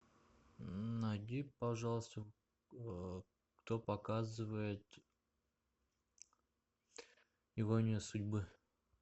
найди пожалуйста кто показывает иронию судьбы